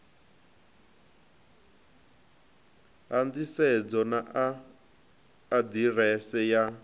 ha nḓisedzo na aḓirese ya